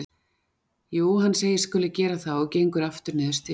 Jú, hann segist skuli gera það og gengur aftur niður stigann.